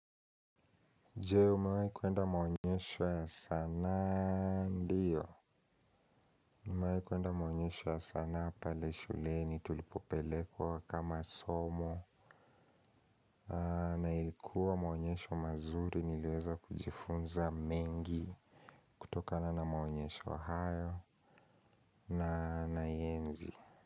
Jee umewai kuenda maonyesho ya sanaa ndiyo nimewai kuenda maonyesho ya sana pale shuleni tulipopelekwa kama somo. Na ilikuwa maonyesho mazuri niliweza kujifunza mengi. Kutokana na maonyesho hayo na naienzi.